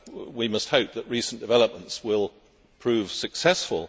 we must hope that recent developments will prove successful.